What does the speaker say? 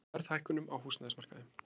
Spá verðhækkunum á húsnæðismarkaði